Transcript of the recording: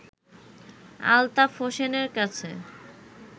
আলতাফ হোসেনের কাছে